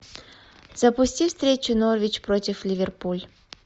запусти встречу норвич против ливерпуль